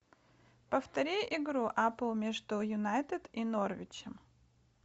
повтори игру апл между юнайтед и норвичем